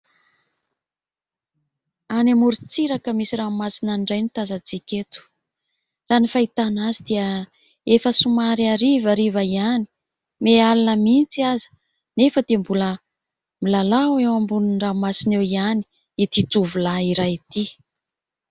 Any amoron-tsiraka misy ranomasina any indray no tazantsika eto. Raha ny fahitana azy dia efa somary harivariva ihany, miha alina mihitsy aza, nefa dia mbola milalao eo ambonin'ny ranomasina eo ihany itỳ tovolahy iray itỳ.